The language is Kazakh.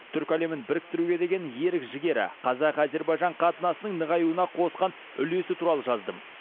түркі әлемін біріктіруге деген ерік жігері қазақ әзербайжан қатынасының нығаюына қосқан үлесі туралы жаздым